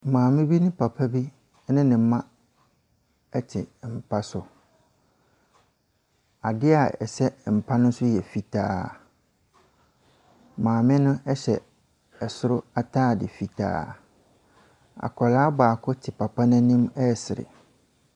Maame bi ne papa bi ne ne mma te mpa so. Adeɛ a ɛsɛ mpa no so yɛ fitaa. Maame no hyɛ soro atade fitaa. Akwadaa baako te papa no anim resere.